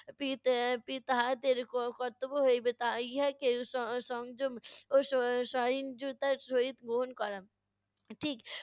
P পি তাহাদের কর্তব্য হইবে তা ইহাকে স~ সংযম ও স~ সহিঞ্জুতার সহিত গ্রহণ করা। ঠিক